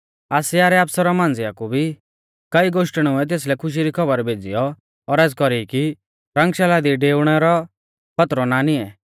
आसिया रै आफसरु मांझ़िया कु भी कई गोष्टणुऐ तेसलै खुशी री खौबर भेज़ीयौ औरज़ कौरी की रंगशाला दी डेउणै रौ खौतरौ ना निऐं